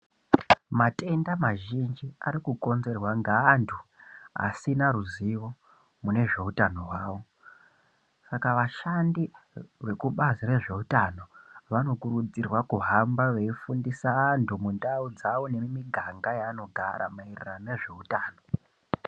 Matenda mazhinji ari kukonzerwa ngaantu asina ruzivo mune zveutano hwavo. Saka vashandi vekubazi rezveutano vanokurudzirwa kuhamba veyifundisa antu mundau dzawo nemumiganga maanogara maererano nezveutano.